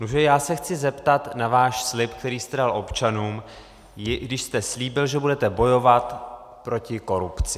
Nuže, já se chci zeptat na váš slib, který jste dal občanům, kdy jste slíbil, že budete bojovat proti korupci.